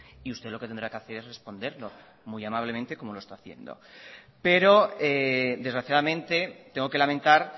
y usted lo que tendrá que hacer es responderlo muy amablemente como lo está haciendo pero desgraciadamente tengo que lamentar